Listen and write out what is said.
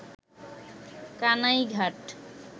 Kanaighat